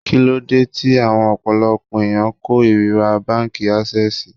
Kíló dé tí awón ọ̀pọ̀lọpọ̀ ẹ̀yàn kó ìríra báńkì Ásẹ́sìì?